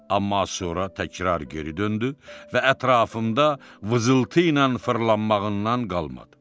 Amma sonra təkrar geri döndü və ətrafımda vızıltıyla fırlanmağından qalmadı.